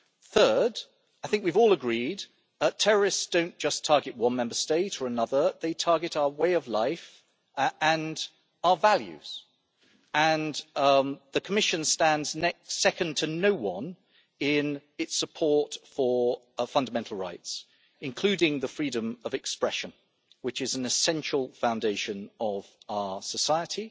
Third, I think we have all agreed that terrorists do not just target one Member State or another, they target our way of life and our values, and the Commission stands second to no one in its support for fundamental rights, including the freedom of expression, which is an essential foundation of our society.